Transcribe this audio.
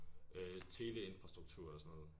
Øh teleinfrastruktur eller sådan noget